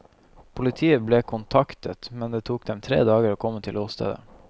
Politiet ble kontaktet, men det tok dem tre dager å komme til åstedet.